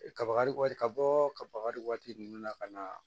Kabakari waati ka bɔ kaba waati ninnu na ka na